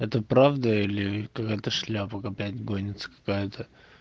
это правда или какая-то шляпа опять гонится какая-то